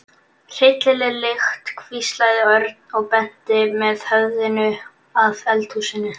Hryllileg lykt hvíslaði Örn og benti með höfðinu að eldhúsinu.